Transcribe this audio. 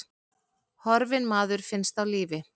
Horfinn maður finnst á lífi